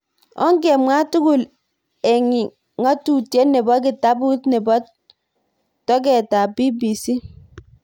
Okngemwa tugul ik ng'ang'utyet nebo kitabut nebo toget, BBC.